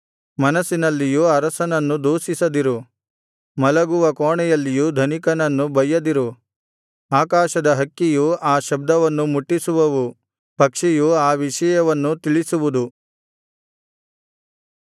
ಮನಸ್ಸಿನಲ್ಲಿಯೂ ಅರಸನನ್ನು ದೂಷಿಸದಿರು ಮಲಗುವ ಕೋಣೆಯಲ್ಲಿಯೂ ಧನಿಕನನ್ನು ಬಯ್ಯದಿರು ಆಕಾಶದ ಹಕ್ಕಿಯು ಆ ಶಬ್ದವನ್ನು ಮುಟ್ಟಿಸುವವು ಪಕ್ಷಿಯು ಆ ವಿಷಯವನ್ನು ತಿಳಿಸುವುದು